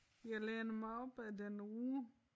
Jeg læner mig op ad den ru